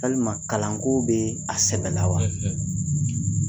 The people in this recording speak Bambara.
walima kalanko bɛ a sɛbɛ la wa